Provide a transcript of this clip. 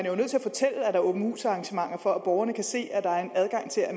er åbent hus arrangementer for at borgerne kan se at der er en adgang til at